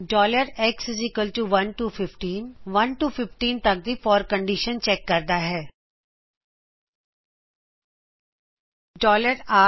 four x 1 to 15 1 l ਤੋਂ15 ਤੱਕ forਕਂਡੀਸ਼ਨ ਚੈਕ ਕਰਦਾ ਹੈਂ